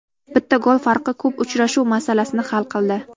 Bitta gol farqi ko‘p uchrashuv masalasini hal qildi.